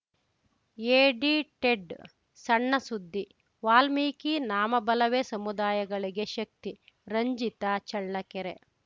ಎಡಿಟೆಡ್‌ಸಣ್ಣಸುದ್ದಿ ವಾಲ್ಮೀಕಿ ನಾಮಬಲವೇ ಸಮುದಾಯಗಳಿಗೆ ಶಕ್ತಿ ರಂಜಿತ ಚಳ್ಳಕೆರೆ